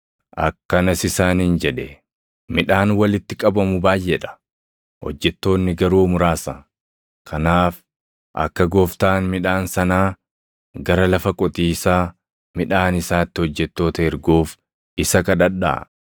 Akkanas isaaniin jedhe; “Midhaan walitti qabamu baayʼee dha; hojjettoonni garuu muraasa. Kanaaf akka Gooftaan midhaan sanaa gara lafa qotiisaa midhaan isaatti hojjettoota erguuf isa kadhadhaa.